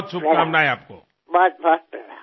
तुम्हाला अनेक शुभेच्छा